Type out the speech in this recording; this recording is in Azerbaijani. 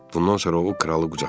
Bundan sonra o kralı qucaqladı.